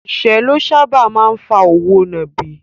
Ìṣẹ́ ló sáábà máa ń fa òwò nàbì.